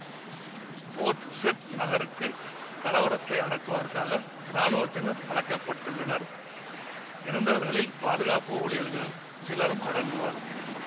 board Said நகருக்கு கலவரத்தை அடக்குவதற்காக இராணுவத்தினர் அழைக்கப்பட்டுள்ளனர் இறந்தவர்களில் பாதுகாப்பு ஊழியர்கள் சிலரும் அடங்குவர்